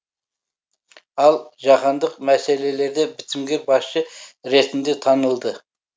ал жаһандық мәселелерде бітімгер басшы ретінде танылды